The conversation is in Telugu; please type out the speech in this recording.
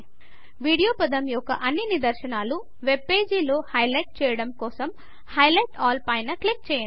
వీడియో పదము యొక్క అన్ని నిదర్శనాలు వెబ్పేజ్లో హైలైట్ చేయడం కోసం హైలైట్ ఆల్ పైన క్లిక్ చేయండి